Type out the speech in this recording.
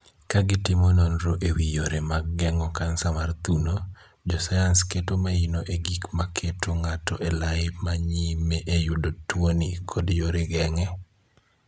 Ka gitimo nonro e wii yore mag geng'o kansa mar thuno, jo sayans keto maino e gik maketo ng'ato elai ma nyime e yudo tuoni kod yore geng'e